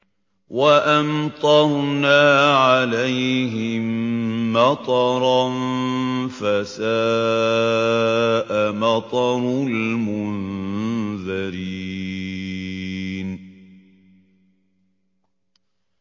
وَأَمْطَرْنَا عَلَيْهِم مَّطَرًا ۖ فَسَاءَ مَطَرُ الْمُنذَرِينَ